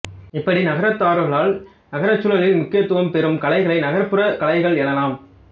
இப்படி நகரத்தவர்களால் நகர்ச்சூழலில் முக்கியத்துவம் பெறும் கலைகளை நகர்ப்புறக் கலைகள் எனலாம்